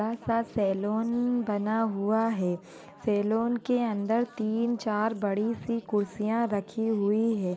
बड़ा सा सैलून बना हुआ है सैलून के अंदर तीन-चार बड़ी सी कुर्सियां रखी हुई है।